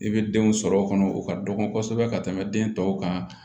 I bɛ denw sɔrɔ kɔnɔ o ka dɔgɔ kosɛbɛ ka tɛmɛ den tɔw kan